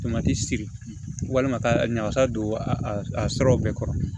Tomati siri walima ka ɲagasa don a sɔrɔ bɛɛ kɔrɔ